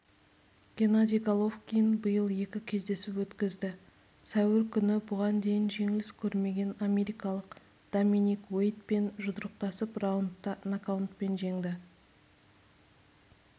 геннадий головкин биыл екі кездесу өткізді сәуір күні бұған дейін жеңіліс көрмеген америкалық доминик уэйдпен жұдырықтасып раундта нокаутпен жеңді